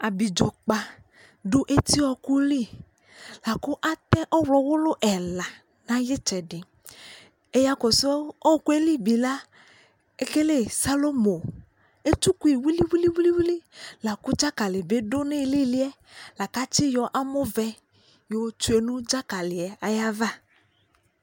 Abidzokpa dʋ eti ɔɔkʋ lι akʋ atɛ ɔɣlɔwulu ɛla nʋ ayʋ itsɛdι Ɛyakɔsʋ ɔɔkʋ yɛ li la, ekele salomo Etsukui wiliwiliwili la kʋ dzakali bι dʋ iilili yɛ la kʋ atiyɔ amɔ vɛ yotsue nʋ dzakali yɛ ayʋ ava